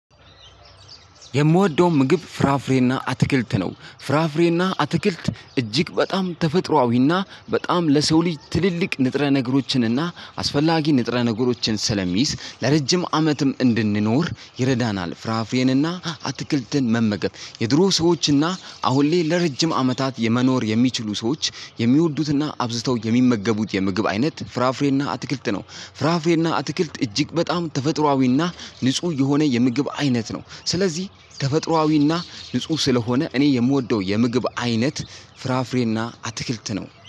የምወደውን ምግብ ፍራፍሬና አትክልት ነው ፍራፍሬና አትክልት እጅግ በጣም ተፈጥሮአዊና በጣም ለሰው ልጅ ትልልቅ ንጥረ ነገሮችንና አስፈላጊ ንጥረ ነገሮችን ስለሚይዝ ለረጅም አመትም እንድንኖር ይረዳናል። ፍራፍሬንና አትክልትን መመገብ የድሮ ሰዎችና አሁን ላይ ለረጅም አመታት የመኖር የሚችሉ ሰዎች የሚወዱትና አብዝተው የሚመገቡት የምግብ አይነት ፍራፍሬና አትክልት ነው። ፍራፍሬና አትክልት እጅግ በጣም ተፈጥሮአዊና ንጹህ የሆነ የምግብ አይነት ነው። ስለዚህ ከተፈጥሮዊና ንጹህ ስለሆነ እኔ የምወደው የምግብ አይነት ፍራፍሬና አትክልት ነው